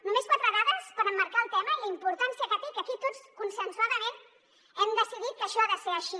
només quatre dades per emmarcar el tema i la importància que té que aquí tots consensuadament hem decidit que això ha de ser així